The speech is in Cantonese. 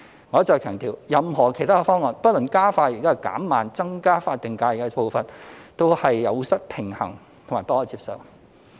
我一再強調，任何其他方案，不論加快或減慢增加法定假日的步伐，均有失平衡及不可接受。